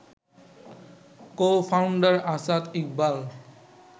co-founder Asad Iqbal